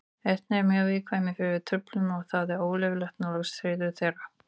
Ernir eru mjög viðkvæmir fyrir truflunum og það er óleyfilegt að nálgast hreiður þeirra.